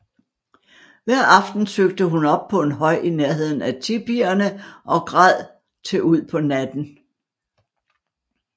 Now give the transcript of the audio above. Hver aften søgte hun op på en høj i nærheden af tipierne og græd til ud på natten